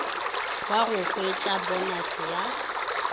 wa go hwettša ponase ya